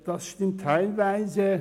Dies stimmt teilweise.